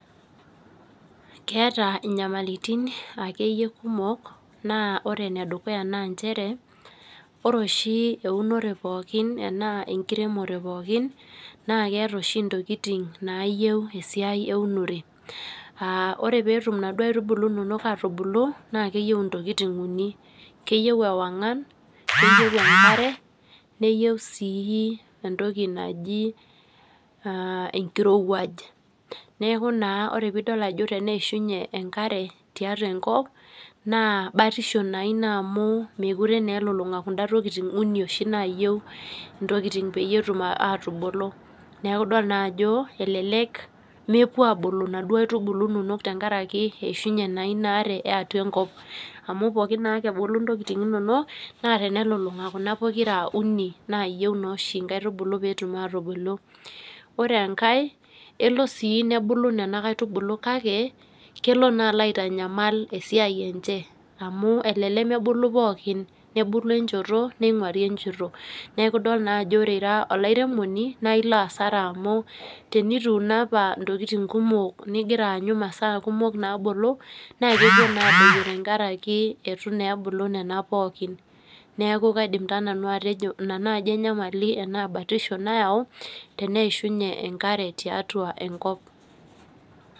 Keeta akeyie nyamalitin kumok ,naa ore ene dukuya naa nchere ,ore oshi eunore enaa enkiremore pookin naa keeta oshi ntokiting naayieu esiai eunore. Ore pee etum naduo aitubulu nonok atubulu naa keyieu ntokiting uni, keyieu ewangan, neyieu enkare neyieu sii entoki natii enkirowaj. Neeku naa tenidol ajo eishunye enkare tiatua enkop, neeku naa batisho ina amu mookure elulunga kunda tokiting uni oshi naayieu ntokiting peyie etum atubulu. Neeku na idol ajo elelek mepuo naduo aitubulu inonok abulu tenkaraki eishunye na inaare eatua enkop. Amu pookin naake ebulu ntokiting inonok naa tenelulunga Kuna pokira uni oshi naayieu nkaitubulu pee etum atubulu. Ore enkae kelo sii nebulu nena kaitubulu kake kelo naa aitanyamal esiai enche amu elelek nebulu pookin ,nebulu enchoto neinguari enchoto ,neeku idol na ajo ore ira oliaremoni naa ilo asara amu tinituuno apa ntokiting kumok ningira anyu masao kumok naabulu ,naa kepuo naa adoyio tenkaraki eitu ebulu nena pookin. Neeku kaidim taa nanu atejo ina batisho ashu enyamali nayau teneishunye enkare tiatua enkop.